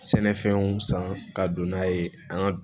Sɛnɛfɛnw san ka don n'a ye an ka